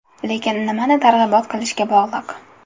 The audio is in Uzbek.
Lekin nimani targ‘ibot qilishga bog‘liq.